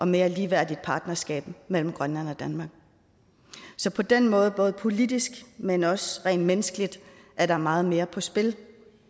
mere ligeværdigt partnerskab mellem grønland og danmark så på den måde både politisk men også rent menneskeligt er der meget mere på spil